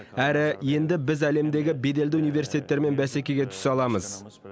әрі енді біз әлемдегі беделді университеттермен бәсекеге түсе аламыз